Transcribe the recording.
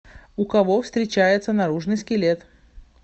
у кого встречается наружный скелет